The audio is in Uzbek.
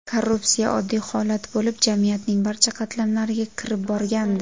Korrupsiya oddiy holat bo‘lib, jamiyatning barcha qatlamlariga kirib borgandi.